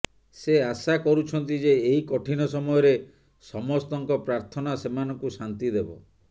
ସେ ଆଶା କରୁଛନ୍ତି ଯେ ଏହି କଠିନ ସମୟରେ ସମସ୍ତଙ୍କ ପ୍ରାର୍ଥନା ସେମାନଙ୍କୁ ଶାନ୍ତି ଦେବ